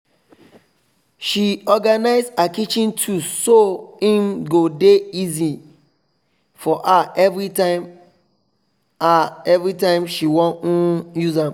she organize her kitchen tools so hin go dey easier for her everytime her everytime she won um use am